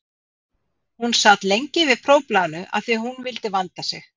Hún sat lengi yfir prófblaðinu af því að hún vildi vanda sig.